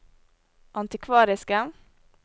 antikvariske